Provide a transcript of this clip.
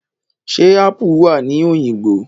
Ṣẹ́ ápù wà ní Òyìngbò?